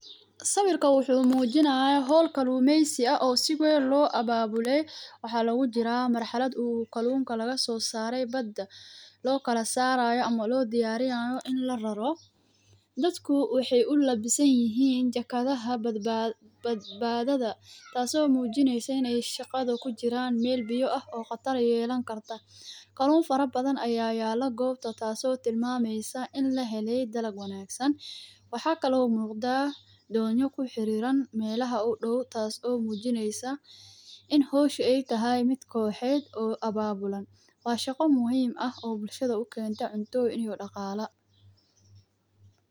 Sawirkan wuxuu muujinaya hool kaluumeysi ah oo siweyn loo abaabulay. Waxaa lagu jira marxalad uu kaluunka laga soo saarey badda, lookala saarayo ama loo diyarinaayo in la raro dadka waxey ulabisanyihiin jakadaha badbaadada taaso muujineyso iney shaqada kujiran meel biya ah oo qatar yeelan karta, kaluun fara badan ayaa yaala goobta taasi oo tilmaameysa in lahelay dalab wanaagsan waxaa kalo muuqda doonyo kuxiriran meelaha u dhow taasi oo muujineysa in howsha ee tahay mid kooxed oo abaabulan waa shaqo muhiima oo bulshada ukeenta cuno iyo dhaqaala.